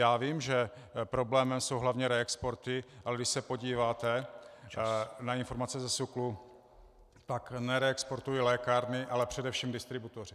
Já vím, že problémem jsou hlavně reexporty, ale když se podíváte na informace ze SÚKLu, tak nereexportují lékárny, ale především distributoři.